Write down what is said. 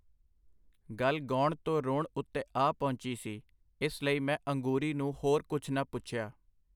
ਗੱਲ ਗੌਣ ਤੋਂ ਰੋਣ ਉੱਤੇ ਆ ਪਹੁੰਚੀ ਸੀ, ਇਸ ਲਈ ਮੈਂ ਅੰਗੂਰੀ ਨੂੰ ਹੋਰ ਕੁਛ ਨਾ ਪੁੱਛਿਆ.